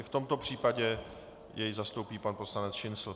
I v tomto případě jej zastoupí pan poslanec Šincl.